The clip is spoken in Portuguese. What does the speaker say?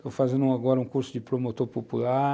Estou fazendo agora um curso de promotor popular.